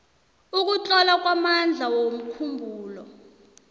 ukutlola kwamandla womkhumbulo